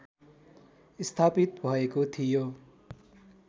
स्थापित भएको थियो